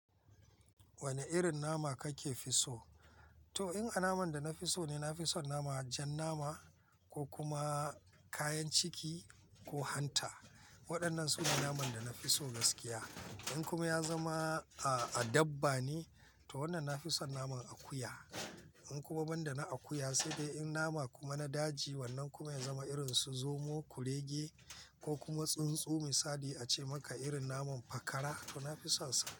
Wane irin nama kake fi so? To in a naman da na fi so ne, na fi son naman jan nama ko kuma kayan ciki ko hanta. Waɗannan sune naman da na fi so gaskiya. In kuma ya zama a dabba ne, to wannan na fi son naman akuya. In kuma banda na akuya sai dai in nama kuma na daji. Wannan kuma ya zama irin su zomo, kurege ko kuma tsuntsu misali a ce maka irin naman fakara to na fi sonsa.